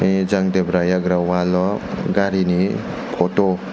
tei jang debra yagra wall o garini photo.